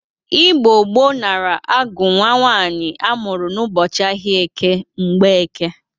Igbo gboo nara agụ nwa nwaanyị amụrụ n'ụbọchị ahịa eke, Mgbọeke.